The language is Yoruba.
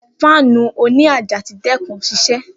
Fáànù òní àjà ti dẹkun siṣẹ